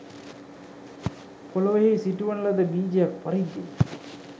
පෙළොවෙහි සිටුවන ලද බීජයක් පරිද්දෙනි